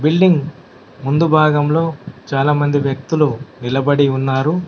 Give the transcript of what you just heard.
Building ముందు భాగంలో చాలామంది వ్యక్తులు నిలబడి ఉన్నారు.